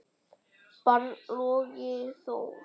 barn: Logi Þór.